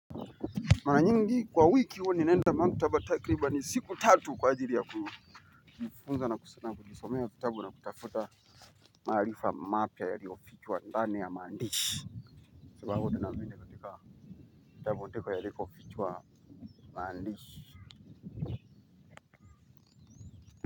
Mara nyingi kwa wiki huwa ninaenda maktaba takriban ni siku tatu kwa ajili ya kujifunza na kujisomea kitabu na kutafuta maarifa mapya yaliyofichwa ndani ya maandishi. Sababu ninazo katika kitabu katika yalikofichwa mandishi.